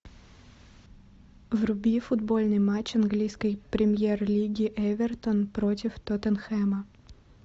вруби футбольный матч английской премьер лиги эвертон против тоттенхэма